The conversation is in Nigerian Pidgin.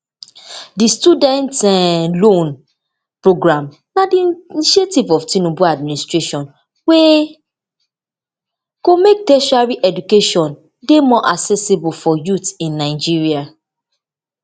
di student um loan programme na di initiative of tinubu administration wey go make tertiary education education dey more accessible for youth in nigeria